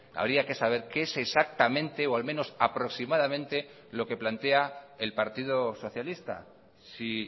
habría que saber qué es exactamente o al menos aproximadamente lo que plantea el partido socialista si